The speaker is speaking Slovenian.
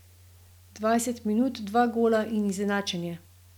Dvajset minut, dva gola in izenačenje.